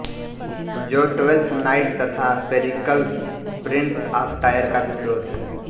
जो Twelfth Night तथा Pericles Prince of Tyre का भी स्रोत है